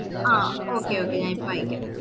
ആ okay okay ഞാൻ ഇപ്പൊ അയക്ക